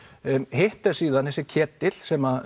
hitt er síðan þessi ketill sem